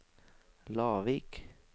Lavik